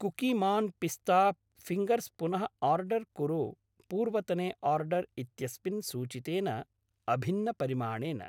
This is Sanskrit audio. कुकीमान् पिस्ता फिङ्गर्स् पुनः आर्डर् कुरु पूर्वतने आर्डर् इत्यस्मिन् सूचितेन अभिन्नपरिमाणेन।